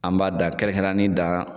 An b'a da kɛrɛn-kɛrɛnyani da.